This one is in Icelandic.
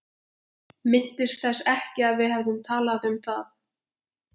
Minntist þess ekki að við hefðum talað um það.